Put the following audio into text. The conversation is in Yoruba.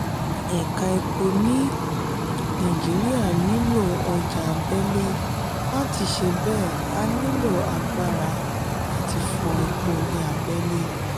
eka epo ni naijiria nílò ọjà abẹ́lé láti ṣe bẹ a nílò agbára àti fọ epo ni abẹ́lé